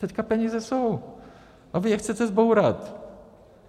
Teď peníze jsou, a vy je chcete zbourat.